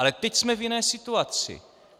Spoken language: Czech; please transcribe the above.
Ale teď jsme v jiné situaci.